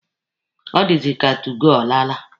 Ọ dịzị ka 2goo alaala.